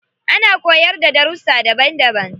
Ana koyarda da darussa daban daban.